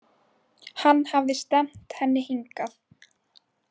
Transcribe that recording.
Hann hafði stefnt henni hingað.